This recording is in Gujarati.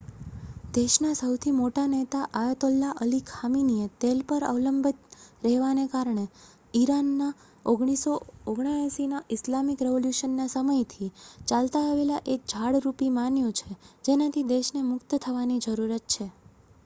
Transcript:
દેશના સહુથી મોટા નેતા અયાતોલ્લા અલી ખામીનીએ તેલ પર અવલંબિત રહેવાને ઈરાનના 1979ના ઇસ્લામિક રેવોલ્યૂશનના સમયથી ચાલતા આવેલા એક જાળ રૂપી માન્યુ છે જેનાથી દેશને મુક્ત થવાની જરૂરત છે